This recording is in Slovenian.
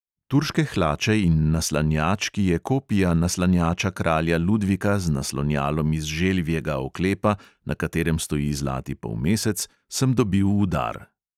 Turške hlače in naslanjač, ki je kopija naslanjača kralja ludvika z naslonjalom iz želvjega oklepa, na katerem stoji zlati polmesec, sem dobil v dar.